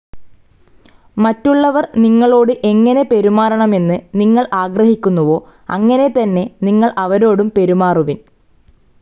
മറ്റുള്ളവർ നിങ്ങളോട് എങ്ങനെ പെരുമാറണമെന്ന് നിങ്ങൾ ആഗ്രഹിക്കുന്നുവോ, അങ്ങനെ തന്നെ നിങ്ങൾ അവരോടും പെരുമാറുവിൻ